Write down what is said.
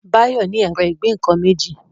Bayo ní Ẹ̀rọ ìgbẹ́-nǹkan méjì.